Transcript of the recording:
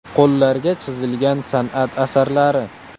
Qo‘llarga chizilgan san’at asarlari.